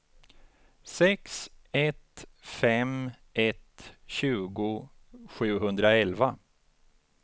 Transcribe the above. sex ett fem ett tjugo sjuhundraelva